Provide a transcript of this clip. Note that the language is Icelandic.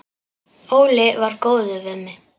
Óli var góður við mig.